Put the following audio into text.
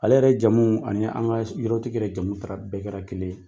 Ale yɛrɛ jamu ani an ka yɔrɔtigi yɛrɛ jamu taara bɛɛ kɛra kelen ye.